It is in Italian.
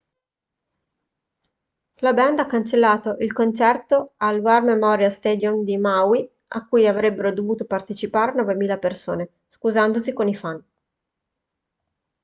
la band ha cancellato il concerto al war memorial stadium di maui a cui avrebbero dovuto partecipare 9.000 persone scusandosi con i fan